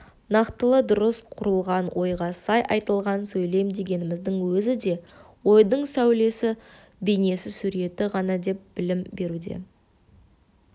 нақтылы дұрыс құрылған ойға сай айтылған сөйлем дегеніміздің өзі де ойдың сәулесі бейнесі суреті ғана деп білім беруде